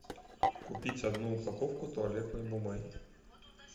купить одну упаковку туалетной бумаги